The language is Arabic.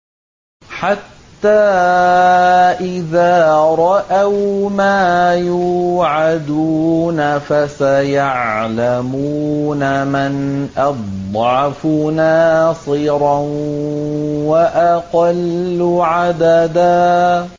حَتَّىٰ إِذَا رَأَوْا مَا يُوعَدُونَ فَسَيَعْلَمُونَ مَنْ أَضْعَفُ نَاصِرًا وَأَقَلُّ عَدَدًا